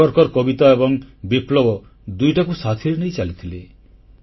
ସାବରକର କବିତା ଏବଂ ବିପ୍ଳବ ଦୁଇଟାକୁ ସାଥିରେ ନେଇ ଚାଲିଥିଲେ